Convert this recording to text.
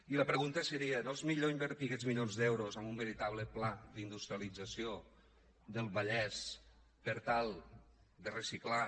i la pregunta seria no és millor invertir aquests milions d’euros en un veritable pla d’industrialització del vallès per tal de reciclar